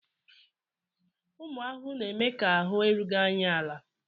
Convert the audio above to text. Ụmụ ahụhụ na-eme ka ahụ́ erughị anyị ala